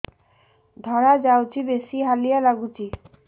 ଧଳା ଯାଉଛି ବେଶି ହାଲିଆ ଲାଗୁଚି